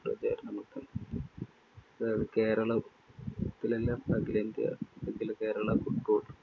കേരള~ത്തിലെല്ലാം അഖിലേന്ത്യാ അഖില Kerala foot court